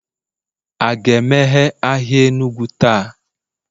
a ga-emeghe ahịa Enugu taa?